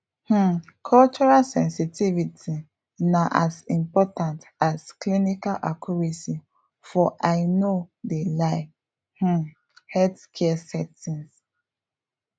um cultural sensitivity na as important as clinical accuracy for i no de lie um healthcare settings